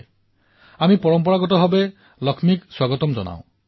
আমাৰ সমাজে এনে কন্যাসমূহক চিনাক্ত কৰক আৰু তেওঁলোকক লৈ গৌৰৱ কৰক